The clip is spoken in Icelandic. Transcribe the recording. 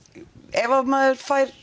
ef maður fær